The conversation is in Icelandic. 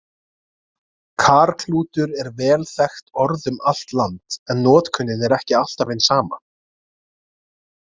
Karklútur er vel þekkt orð um allt land, en notkunin er ekki alltaf hin sama.